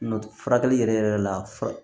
Nɔtɛ furakɛli yɛrɛ yɛrɛ la